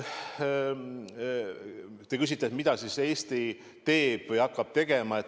Te küsite, mida Eesti teeb või hakkab tegema.